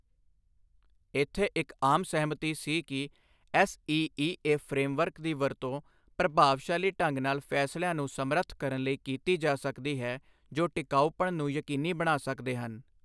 ਇੱਥੇ ਇੱਕ ਆਮ ਸਹਿਮਤੀ ਸੀ ਕਿ ਐਸਈਈਏ ਫਰੇਮਵਰਕ ਦੀ ਵਰਤੋਂ ਪ੍ਰਭਾਵਸ਼ਾਲੀ ਢੰਗ ਨਾਲ ਫੈਸਲਿਆਂ ਨੂੰ ਸਮਰੱਥ ਕਰਨ ਲਈ ਕੀਤੀ ਜਾ ਸਕਦੀ ਹੈ ਜੋ ਟਿਕਾਊਪਣ ਨੂੰ ਯਕੀਨੀ ਬਣਾ ਸਕਦੇ ਹਨ।